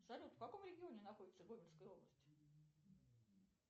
салют в каком регионе находится гомельская область